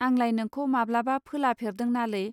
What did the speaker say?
आंलाय नोंखौ माब्लाबा फोला फेरदों नालै